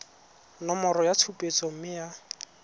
nomoro ya tshupetso mme ya